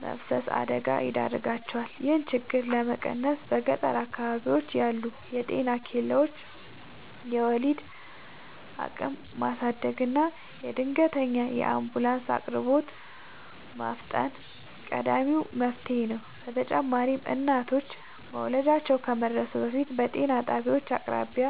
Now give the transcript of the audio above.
መፍሰስ አደጋ ይዳርጋቸዋል። ይህንን ችግር ለመቀነስ በገጠር አካባቢዎች ያሉ የጤና ኬላዎችን የወሊድ አቅም ማሳደግና የድንገተኛ አምቡላንስ አቅርቦትን ማፋጠን ቀዳሚው መፍትሔ ነው። በተጨማሪም እናቶች መውለጃቸው ከመድረሱ በፊት በጤና ጣቢያዎች አቅራቢያ